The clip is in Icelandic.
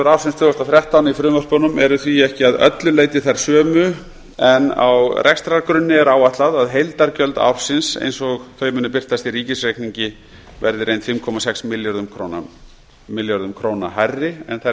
ársins tvö þúsund og þrettán í frumvörpunum eru því ekki að öllu leyti þær sömu en á rekstrargrunni er áætlað að heildargjöld ársins eins og þau muni birtast í ríkisreikningi verði í reynd fimm komma sex milljörðum króna hærri en þær